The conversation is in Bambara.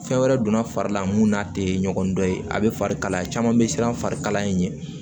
Fɛn wɛrɛ donna fari la mun n'a tɛ ɲɔgɔn dɔn ye a bɛ fari kalaya caman bɛ siran fari kalaya